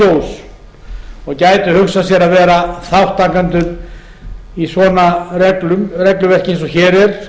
sjós og gætu hugsað sér að vera þátttakendur í svona regluverki eins og hér er